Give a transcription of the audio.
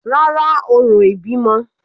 Rárá, orò ìbímọ